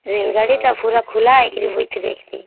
ଏ ଗାଡ଼ିଟା ପୁରା ଖୁଲା ହେଇକିରି ବଇଥେ ଦେଖଥି